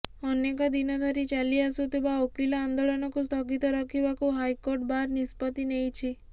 ଅନେକ ଦିନ ଧରି ଚାଲି ଆସୁଥିବା ଓକିଲ ଆନ୍ଦୋଳନକୁ ସ୍ଥଗିତ ରଖିବାକୁ ହାଇକୋର୍ଟ ବାର୍ ନିଷ୍ପତ୍ତି ନେଇଛି